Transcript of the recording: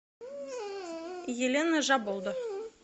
елена жаболда